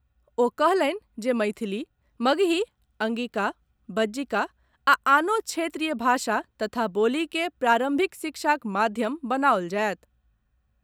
ओ कहलनि जे मैथिली, मगही, अंगिका, बज्जिका आ आनो क्षेत्रीय भाषा तथा बोली के प्रारंभिक शिक्षाक माध्यम बनाओल जायत।